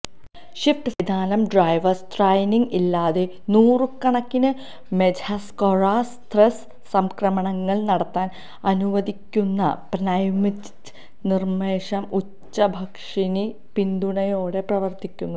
shift സംവിധാനം driver സ്ത്രൈനിന്ഗ് ഇല്ലാതെ നൂറുകണക്കിന് മെജ്ഹ്സ്കൊരൊസ്ത്ംയ്ഹ് സംക്രമണങ്ങൾ നടത്താൻ അനുവദിക്കുന്ന പ്നെഉമതിച് സമ്മർദ്ദം ഉച്ചഭാഷിണി പിന്തുണയോടെ പ്രവർത്തിക്കുന്നു